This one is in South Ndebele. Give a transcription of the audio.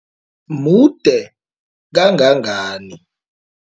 Mude kangangani?